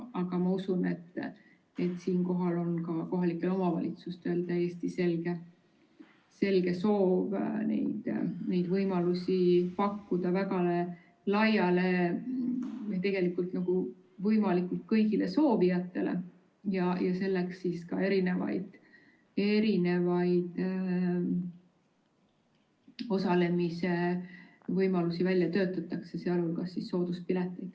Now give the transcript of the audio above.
Aga ma usun, et siinkohal on ka kohalikel omavalitsustel täiesti selge soov neid võimalusi pakkuda kõigile soovijatele ja selleks ka erinevaid osalemise võimalusi välja töötatakse, sh sooduspileteid.